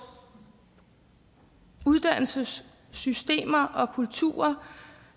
uddannelsessystemer og kultur